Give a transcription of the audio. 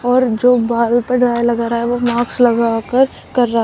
और जो बाल पर डाई लगा रहा है वो मास्क लगाकर कर रहा।